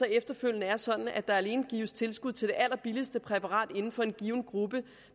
efterfølgende er sådan at der alene gives tilskud til det allerbilligste præparat inden for en given gruppe